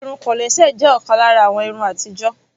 Irun kòlẹ́sẹ̀ jé òkan lára àwọn irun atijo.